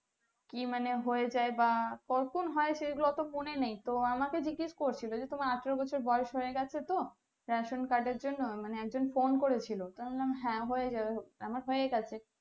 কি মানে হয়ে যাই বা কখন হয় সেই গুলো অতো মনে নেই তো আমাকে জিজ্ঞেস করছিলো যে তোমার আঠেরো বছর বয়স হয়ে গেছে তো ration card এর জন্য মানে একজন phone করে ছিল তো আমি বললাম হ্যাঁ হয়ে যাবে হয়ে গেছে